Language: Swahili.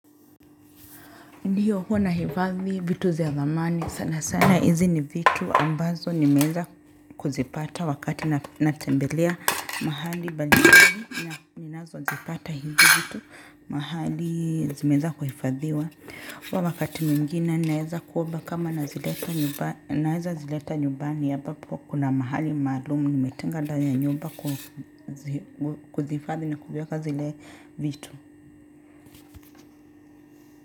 Ndio huwa nahifadhi vitu za dhamani sana sana hizi ni vitu ambazo nimeweza kuzipata wakati natembelea mahali mbalimbali ninazozipata hizi vitu, mahali zimeweza kuhifadhiwa. Wakati mwingine naweza kuomba kama naweza zileta nyumbani ambapo kuna mahali maalumu nimetenga ndani ya nyumba kuzihifadhi na kuvieka zile vitu.